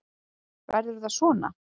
Verður það svona?